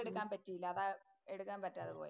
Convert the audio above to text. എടുക്കാന്‍ പറ്റീല. അതാ എടുക്കാന്‍ പറ്റാതെ പോയേ.